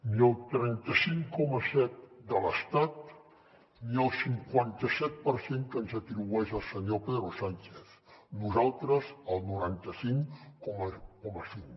ni el trenta cinc coma set de l’estat ni el cinquanta set per cent que ens atribueix el senyor pedro sánchez nosaltres el noranta cinc coma cinc